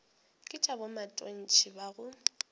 ke tša bomatontshe ba go